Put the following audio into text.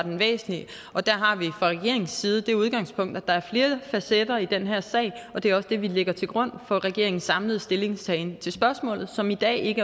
væsentlig og der har vi fra regeringens side det udgangspunkt at der er flere facetter i den her sag og det er også det vi lægger til grund for regeringens samlede stillingtagen til spørgsmålet som i dag ikke